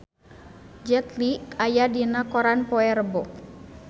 Jet Li aya dina koran poe Rebo